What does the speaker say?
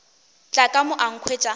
tla ka mo a nkhwetša